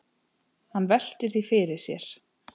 Hann veltir því fyrir sér.